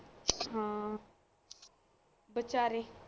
ਹਾਂ ਬਚਾਰੇ